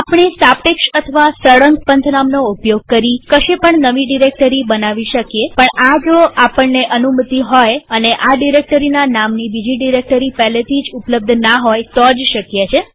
આપણે સાપેક્ષ અથવા સળંગ પંથનામનો ઉપયોગ કરી કશે પણ નવી ડિરેક્ટરી બનાવી શકીએ પણ આ જો આપણને અનુમતિ હોય અને આ ડિરેક્ટરીના નામની બીજી ડિરેક્ટરી પહેલેથી જ ઉપલબ્ધના હોય તો જ શક્ય છે